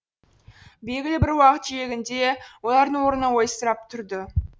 белгілі бір уақыт шегінде олардың орны ойсырап тұрды